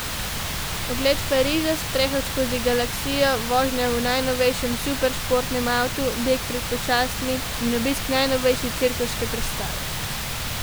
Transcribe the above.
Ogled Pariza, sprehod skozi galaksijo, vožnja v najnovejšem superšportnem avtu, beg pred pošastmi in obisk najnovejše cirkuške predstave.